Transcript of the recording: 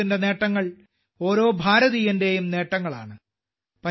ഭാരതത്തിന്റെ നേട്ടങ്ങൾ ഓരോ ഭാരതീയന്റെയും നേട്ടങ്ങളാണ്